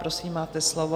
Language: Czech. Prosím, máte slovo.